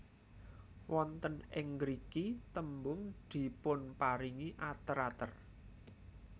Wonten ing ngriki tembung dipunparingi ater ater